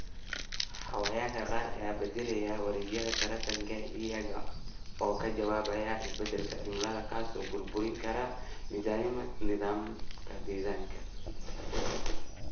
Xayawaanka qaar ayaa bedelaya wareegyada taranka iyaga oo ka jawaabaya isbedelka cimilada, kaas oo burburin kara nidaamka deegaanka.